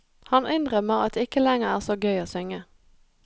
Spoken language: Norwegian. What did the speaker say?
Han innrømmer at det ikke lenger er så gøy å synge.